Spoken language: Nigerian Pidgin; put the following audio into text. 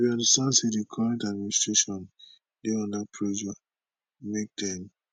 we understand say di current administration dey under pressure make dem